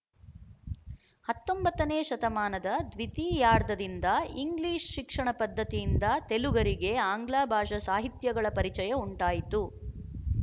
ಹತ್ತೊಂಬತ್ತನೇ ಶತಮಾನದ ದ್ವಿತೀಯಾರ್ಧದಿಂದ ಇಂಗ್ಲಿಶ ಶಿಕ್ಷಣ ಪದ್ಧತಿಯಿಂದ ತೆಲುಗರಿಗೆ ಆಂಗ್ಲಭಾಷಾ ಸಾಹಿತ್ಯಗಳ ಪರಿಚಯ ಉಂಟಾಯಿತು